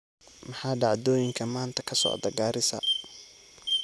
Maxaa dhacdooyinka maanta ka socda Gaarisa?